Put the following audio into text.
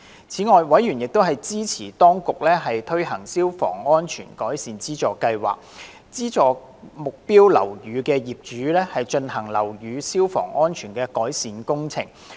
此外，委員支持當局推行消防安全改善資助計劃，資助目標樓宇的業主進行樓宇消防安全改善工程。